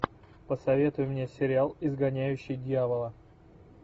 посоветуй мне сериал изгоняющий дьявола